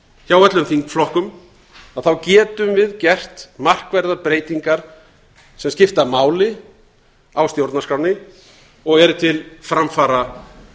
hjá öllum þingflokkum þá getum við gert markverðar breytingar sem skipta máli á stjórnarskránni og eru til framfara